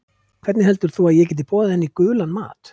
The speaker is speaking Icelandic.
Hvernig heldur þú að ég geti boðið henni í gulan mat?